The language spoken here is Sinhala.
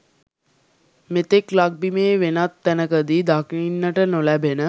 මෙතෙක් ලක්බිමේ වෙනත් තැනකදී දකින්නට නොලැබෙන